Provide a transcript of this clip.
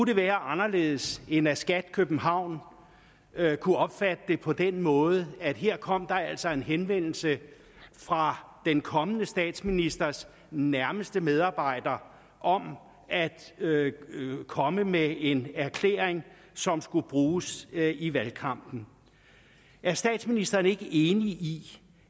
det være anderledes end at skat københavn kunne opfatte det på den måde at her kom der altså en henvendelse fra den kommende statsministers nærmeste medarbejder om at komme med en erklæring som skulle bruges i valgkampen er statsministeren ikke enig i